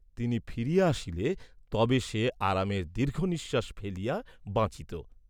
তিনি ফিরিয়া আসিলে তবে সে আরামের দীর্ঘনিশ্বাস ফেলিয়া বাঁচিত।